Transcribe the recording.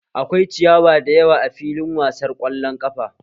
Akwai ciyawa da yawa a filin wasar ƙwallon ƙafa